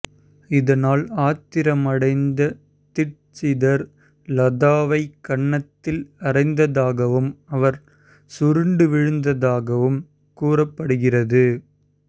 இதனால் ஆத்திரமடைந்த தீட்சிதர் லதாவை கன்னத்தில் அறைந்ததாகவும் அவர் சுருண்டு விழுந்ததாகவும் கூறப்படுகிறது